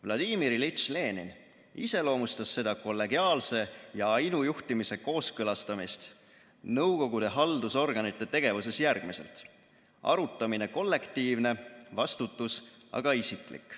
V. I. Lenin iseloomustas seda kollegiaalse ja ainujuhtimise kooskõlastamist nõukogude haldusorganite tegevuses järgmiselt: arutamine kollektiivne, vastutus aga isiklik.